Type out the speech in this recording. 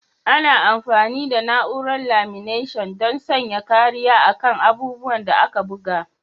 Ana amfani da na'urar laminatin don sanya kariya a kan abubuwan da aka buga.